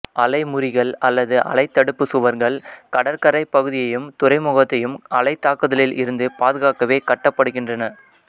அலைமுறிகள் அல்லது அலைத் தடுப்புச் சுவர்கள் கடற்கரைப் பகுதியையும் துறைமுகத்தையும் அலைத்தாக்குதலில் இருந்து பாதுகாக்கவே கட்டப்படுகின்றன